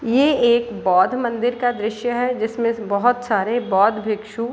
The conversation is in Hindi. ये एक बौद्ध मंदिर का दृश्य है जिसमें बहुत सारे बौद्ध भिक्षु --